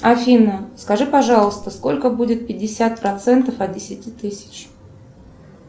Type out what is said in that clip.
афина скажи пожалуйста сколько будет пятьдесят процентов от десяти тысяч